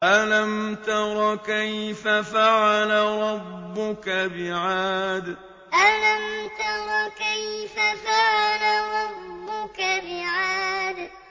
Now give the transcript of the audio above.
أَلَمْ تَرَ كَيْفَ فَعَلَ رَبُّكَ بِعَادٍ أَلَمْ تَرَ كَيْفَ فَعَلَ رَبُّكَ بِعَادٍ